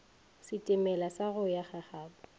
setimela sa go ya gagabo